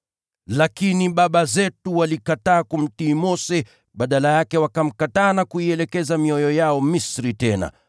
“Lakini baba zetu walikataa kumtii Mose, badala yake wakamkataa na kuielekeza mioyo yao Misri tena.